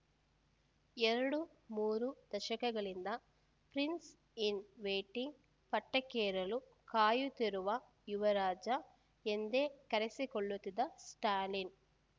ಎರಡುಮೂರು ದಶಕಗಳಿಂದ prince in waiting ಪಟ್ಟಕ್ಕೇರಲು ಕಾಯುತ್ತಿರುವ ಯುವರಾಜ ಎಂದೇ ಕರೆಸಿಕೊಳ್ಳುತ್ತಿದ್ದ ಸ್ಟಾಲಿನ್‌